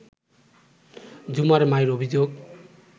ঝুমার মায়ের অভিযোগ